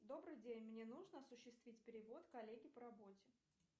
добрый день мне нужно осуществить перевод коллеге по работе